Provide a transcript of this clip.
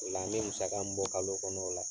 O la n ye musaka min bɔ kalo kɔnɔ o la